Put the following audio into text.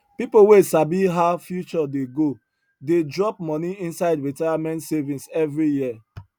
people wey sabi how future dey go dey drop money inside retirement savings every year